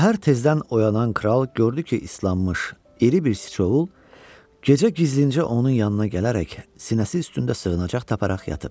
Səhər tezdən oyanan kral gördü ki, islanmış iri bir sıçovul gecə gizlincə onun yanına gələrək sinəsi üstündə sığınacaq taparaq yatıb.